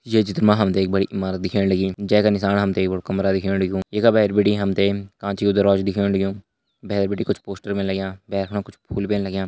ये चित्र मा हम तैं एक बड़ी इमारत दिखेण लगीं जै का निशाना हम तैं एक कमरा दिखेण लग्युं ये का भैर बिटि हम तैं कांच कू दरवाजू दिखेण लग्युं भैर बिटि कुछ पोस्टर भी लग्यां भैर बिटि कुछ फूल भी लग्यां।